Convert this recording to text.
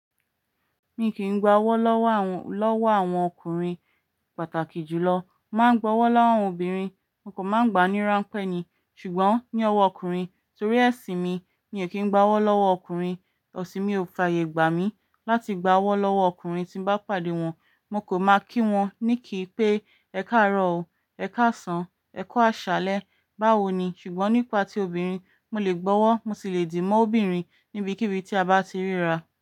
Mi kì í gba ọwọ́ lọ́wọ́ àwọn, lọ́wọ́ àwọn ọkùnrin pàtàkì jùlọ. Mo máa ń gba ọwọ́ láwọn obìnrin, mo kò máa ń gba ní ránpẹ́ ni. Ṣùgbọ́n ní ọwọ́ ọkùnrin torí ẹṣin mi ni èmi kì í gba ọwọ́ lọ́wọ́ ọkùnrin. Ẹṣin mi ò fàyè gbà mí láti gba ọwọ́ lọ́wọ́ ọkùnrin tí n bá pàdé wọn. Mo kò m á kí wọn ní kì í pé ẹ káàárọ̀ o, ẹ káàsán, ẹ kó àṣálẹ́, báwo ni? Ṣùgbọ́n nípa tí obìnrin mo lè gbọ́wọ́, mo sì lè dì mọ́ ọ obìnrin níbikíbi tí a bá ti ríra.